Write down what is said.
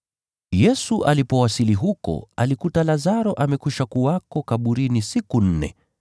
Yesu alipowasili huko alikuta Lazaro amekuwa kaburini siku nne.